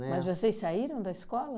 Né? Mas vocês saíram da escola?